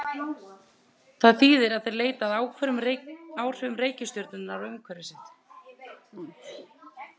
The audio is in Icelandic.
Það þýðir að þeir leita að áhrifum reikistjörnunnar á umhverfi sitt.